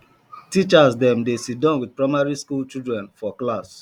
teachers dem dey siddon with primary skool children for class